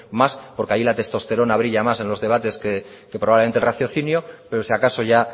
más porque ahí la testosterona brilla más en los debates que probablemente el raciocinio pero si acaso ya